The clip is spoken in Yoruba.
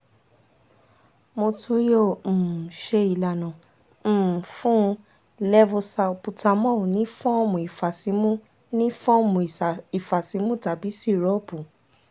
mo tun yoo um ṣe ilana um fun u levosalbutamol ni fọọmu ifasimu ni fọọmu ifasimu tabi sirupu